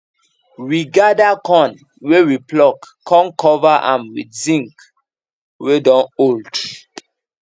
we gather corn wey we pluck con cover am with zinc wey don old